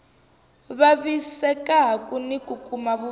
vavisekaku ni ku kuma vuvabyi